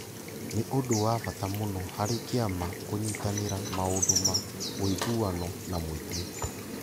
Nĩ ũndũ wa bata mũno harĩ kĩama kũnyitanĩra maũndũ ma ũiguano na mũingĩ.